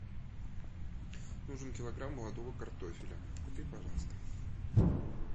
нужен килограмм молодого картофеля купи пожалуйста